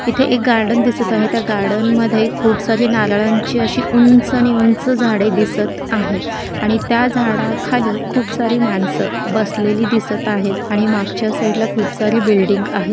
इथे एक गार्डन दिसत आहे त्या गार्डन मध्ये खूप सारी नारळांचे अशी उंच नी उंच झाडे दिसत आहेत आणि त्या झाडाखाली खूप सारी माणस बसलेले दिसत आहेत आणि मागच्या साइडला खूप सारी बिल्डिंग आहे.